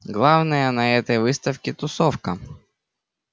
главное на этой выставке тусовка